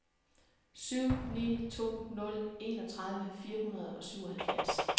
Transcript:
syv ni to nul enogtredive fire hundrede og syvoghalvfjerds